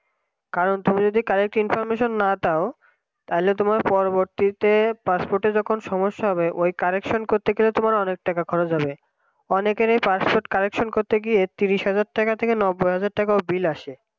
কারণ তুমি যদি correctinformation না দাও তাহলে তোমার পরবর্তীতে passport যখন সমস্যা হবে ওই correction করতে গেলে তোমার অনেক টাকা খরচ হবে অনেকেরই passport correction করতে গিয়ে তিরিশ হাজার টাকা থেকে নব্বই হাজার টাকাও বিল আসে